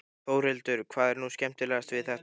Þórhildur: Hvað er nú skemmtilegast við þetta?